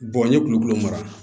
n ye kulukolo mara